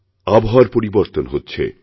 আবহাওয়ার পরিবর্তন হচ্ছে